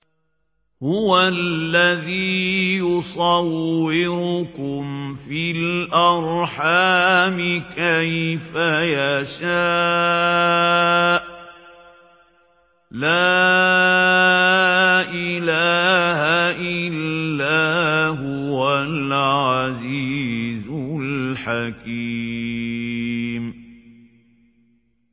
هُوَ الَّذِي يُصَوِّرُكُمْ فِي الْأَرْحَامِ كَيْفَ يَشَاءُ ۚ لَا إِلَٰهَ إِلَّا هُوَ الْعَزِيزُ الْحَكِيمُ